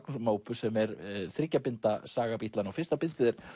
sem er þriggja binda saga Bítlanna fyrsta bindið er